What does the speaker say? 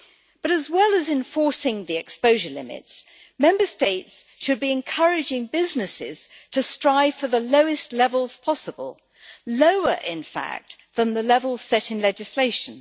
But as well as enforcing the exposure limits, Member States should be encouraging businesses to strive for the lowest levels possible, lower, in fact, than the levels set in legislation.